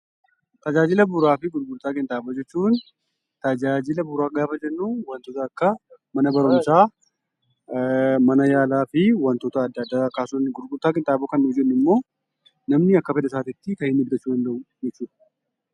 Tajaajila bu'uuraa fi gurgurtaa qinxaaboo jechuun tajaajila ajaajila bu'uuraa gaafa jennu, mana barumsaa, mana yaalaa fi waantota addaa addaa. Gurgurtaa qinxaaboo gaafa jennu namni akka fedha isaatti kan bitu jechuudha.